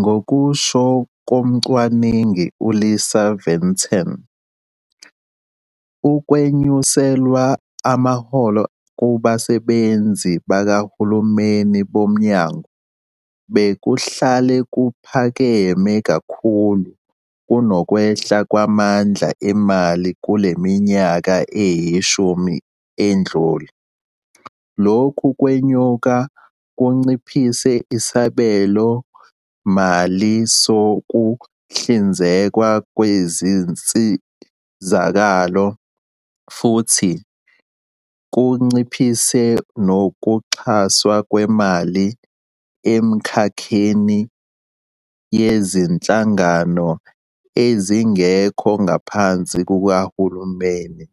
Ngokusho komcwaningi uLisa Vetten, ukwenyuselwa amaholo kubasebenzi bakahulumeni boMnyango bekuhlale kuphakeme kakhulu kunokwehla kwamandla emali kule minyaka eyi-10 edlule, lokhu kwenyuka kunciphise isabelomali sokuhlinzekwa kwezinsizakalo, futhi kunciphise nokuxhaswa kwemali emkhakheni wezinhlangano ezingekho ngaphansi kukahulumeni,